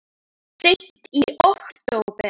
Seint í október